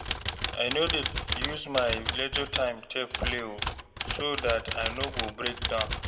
I no dey use my leisure time take play o so dat I no go break down